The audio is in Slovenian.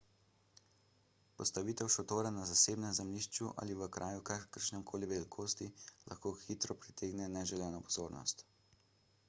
postavitev šotora na zasebnem zemljišču ali v kraju kakršnekoli velikosti lahko hitro pritegne neželeno pozornost